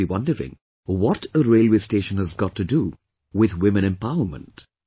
You must be wondering what a railway station has got to do with women empowerment